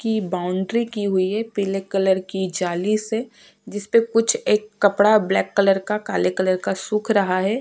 की बाउंड्री कि हुई है पीले कलर की जाली से जिसपे कुछ एक कपड़ा ब्लैक कलर का काले कलर का सुख रहा है।